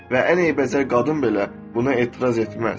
Və ən eybəcər qadın belə bunu etiraz etməz.